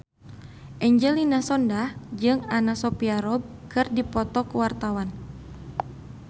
Angelina Sondakh jeung Anna Sophia Robb keur dipoto ku wartawan